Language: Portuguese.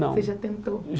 Não Você já tentou?